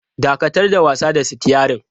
Dakatar da wasa da sitiyarin!